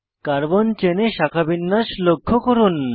carbon চেনে শাখাবিন্যাস লক্ষ্য করুন